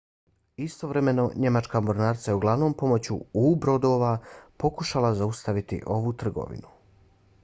istovremeno njemačka mornarica je uglavnom pomoću u-brodova pokušavala zaustaviti ovu trgovinu